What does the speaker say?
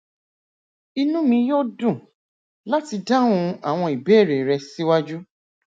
inú mi yó dùn láti dáhùn àwọn ìbéèrè rẹ síwájú